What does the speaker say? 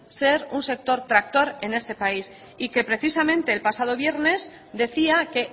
ser un sector tractor en este país y que precisamente el pasado viernes decía que